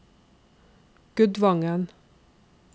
Gudvangen